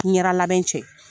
N ɲɛra labɛn cɛ